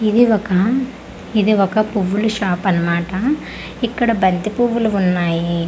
ఇది ఒక ఇది ఒక పువ్వులు షాప్ అన్నమాట ఇక్కడ బంతి పువ్వులు ఉన్నాయి.